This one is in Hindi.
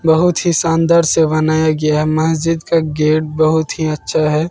बहुत ही शानदार से बनाया गया मस्जिद का गेट बहोत ही अच्छा है।